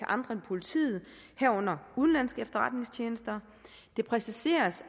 andre end politiet herunder udenlandske efterretningstjenester det er præciseret